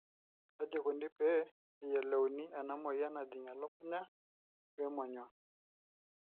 kaji ikoni pee eyiolouni enamoyiannajing elukunya we monyua.